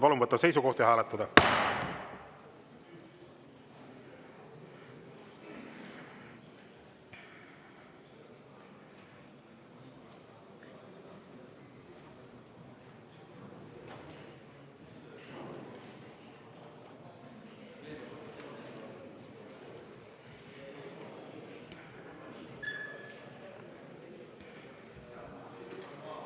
Palun võtta seisukoht ja hääletada!